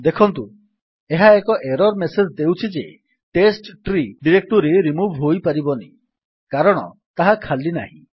ଦେଖନ୍ତୁ ଏହା ଏକ ଏରର୍ ମେସେଜ୍ ଦେଉଛି ଯେ ଟେଷ୍ଟ୍ରୀ ଡିରେକ୍ଟୋରୀ ରିମୁଭ୍ ହୋଇପାରିବନି କାରଣ ତାହା ଖାଲି ନାହିଁ